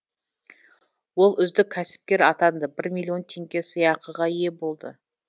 ол үздік кәсіпкер атанды бір миллион теңге сыйақыға ие болды